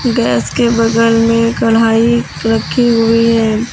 Gas के बगल में कड़ाही रखी हुई है।